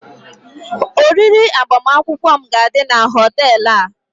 oriri agbamakwụkwọ m ga-adị na họtel a